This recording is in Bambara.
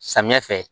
Samiyɛ fɛ